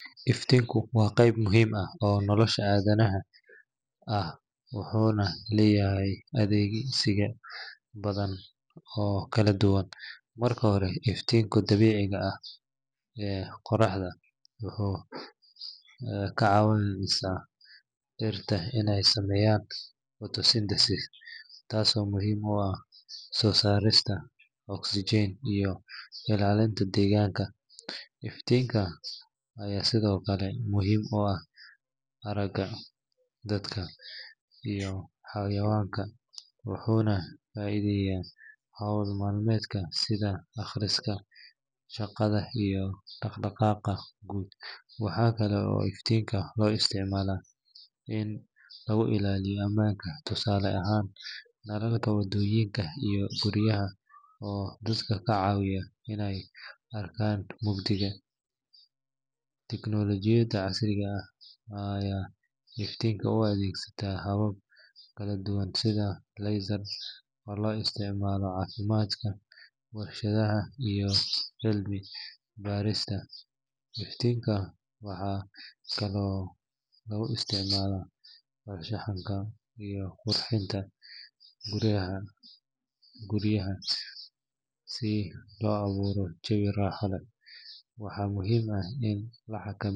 Iftiinka waa qayb muhiim ah oo nolosha aadanaha ah wuxuuna leeyahay adeegsiyo badan oo kala duwan. Marka hore, iftiinka dabiiciga ah ee qoraxda wuxuu ka caawiyaa dhirta inay sameeyaan photosynthesis taasoo muhiim u ah soo saarista oxygen iyo ilaalinta deegaanka. Iftiinka ayaa sidoo kale muhiim u ah aragga dadka iyo xayawaanka, wuxuuna fududeeyaa howl maalmeedka sida akhriska, shaqada, iyo dhaq-dhaqaaqa guud. Waxaa kale oo iftiinka loo isticmaalaa in lagu ilaaliyo amaanka, tusaale ahaan nalalka wadooyinka iyo guryaha oo dadka ka caawiya inay arkaan mugdiga. Teknolojiyadda casriga ah ayaa iftiinka u adeegsanaysa habab kala duwan sida laser oo loo isticmaalo caafimaadka, warshadaha, iyo cilmi baarista. Iftiinka waxaa kaloo lagu isticmaalaa farshaxanka iyo qurxinta gudaha guryaha si loo abuuro jawi raaxo leh. Waxaa muhiim ah in la.